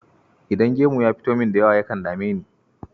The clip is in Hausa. Idan gemu ya fito min da yawa, yakan dame ni.